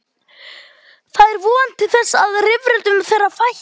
Það er þá von til þess að rifrildum þeirra fækki.